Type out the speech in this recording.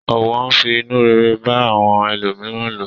Ọ̀wọ̀ ń fi inú rere bá àwọn ẹlòmíràn lò.